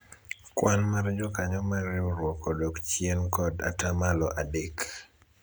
kwan mar jokanyo mar riwruok odok chien kod atamalo adek